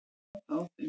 Ég sá það á þeim.